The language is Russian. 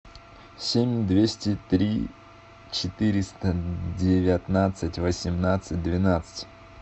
семь двести три четыреста девятнадцать восемнадцать двенадцать